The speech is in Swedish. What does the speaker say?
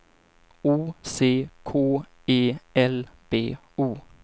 O C K E L B O